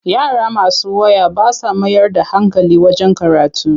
Yara masu waya ba sa mayar da hankali wajen karatu.